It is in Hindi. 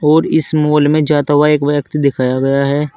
और इस माल में जाता हुआ एक व्यक्ति दिखाया गया है।